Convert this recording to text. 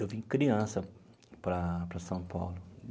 Eu vim criança para para São Paulo.